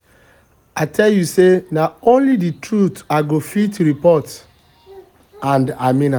i tell you say na only the truth i go fit report and i mean am